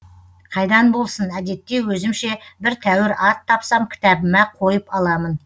қайдан болсын әдетте өзімше бір тәуір ат тапсам кітабыма қойып аламын